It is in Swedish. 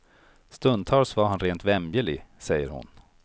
Stundtals var han rent vämjelig, säger hon.